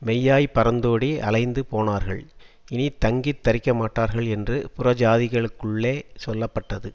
மெய்யாய்ப் பறந்தோடி அலைந்து போனார்கள் இனி தங்கித் தரிக்கமாட்டார்கள் என்று புறஜாதிகளுக்குள்ளே சொல்ல பட்டது